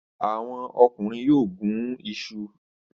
Àwọn ọkùnrin yóò gún iṣu.